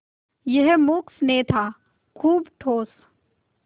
यह मूक स्नेह था खूब ठोस